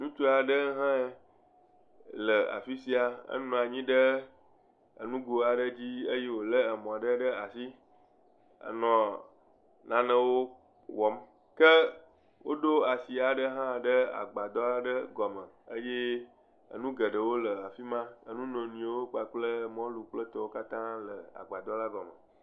Ŋutsu aɖe hã le afisia. Enɔ anyi ɖe ŋgo aɖe dzi wole emɔ ɖe ɖe asi. Wonɔ nane wɔm. Ke woɖo asi ɖe hã ɖe agbadɔ aɖe gɔme. Enu geɖewo le afima. Enu nono kple mɔliwo le agbadɔ la gɔme.